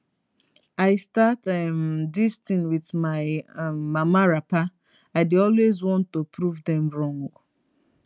i start um dis tin wit my um mama wrapper i dey always wan to prove dem wrong